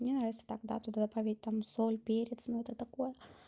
мне нравится так да туда добавить там соль-перец но это такое